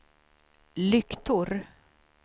lyktor